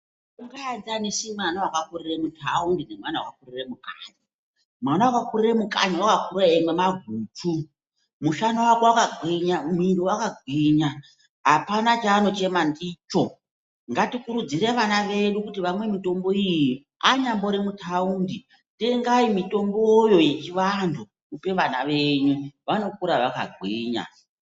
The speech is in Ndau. Awungaenzanisi mwana wakakurira mutawundi nemwana wakakurira mukanyi, mwana wakakurira mukanyi wakakura eyimwa maguchu, mushana wake wakagwinya, mwiri wakagwinya, hapana chaanochema ndicho, ngatikurudzire vana vedu kuti vamwe mitombo iyi, anyambori mutawundi, tengai mitomboyo yechivantu, mupe vana venyu vanokura vakagwinya.